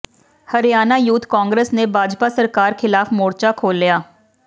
Haryana youth Congress ਨੇ ਭਾਜਪਾ ਸਰਕਾਰ ਖ਼ਿਲਾਫ਼ ਮੋਰਚਾ ਖੋਲ੍ਹਿਆ